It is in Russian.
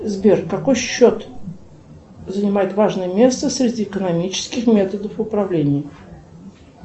сбер какой счет занимает важное место среди экономических методов управления